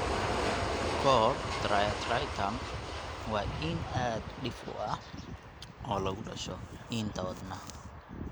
Cor triatriatum waa iin aad u dhif ah oo lagu dhasho (hadda dhalashada) iinta wadnaha.